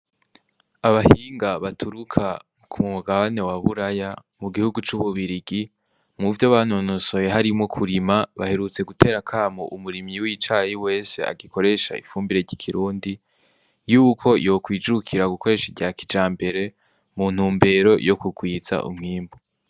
Abahinga baturuka kumugabane waburaya mu gihugu c'ububirigi muvyo banonosoye harimwo kurima baherutse gutera akamo umurimyi w'icayi wese agikoresha ifumbire ryikirundi yuko yakwijukira gukoresha iryakijambere mu ntumbero yo kugwiza umwimbu.